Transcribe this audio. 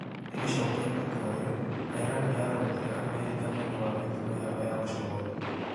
Igicokia itua riu, Iran niyaorotire Amerika niundu wa mitugo yayo ya ucogothi.